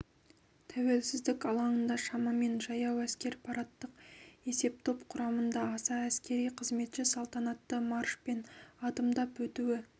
тәуелсіздік алаңында шамамен жаяу әскер парадтық есептоп құрамында аса әскери қызметші салтанатты маршпен адымдап өтуі